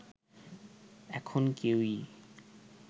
এখন কেউই